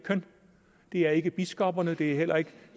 det er ikke biskopperne det er heller ikke